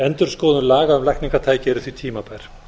endurskoðun laga um lækningatæki eru því tímabær